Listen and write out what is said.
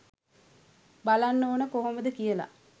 බලන්න ඕන කොහොමද කියල.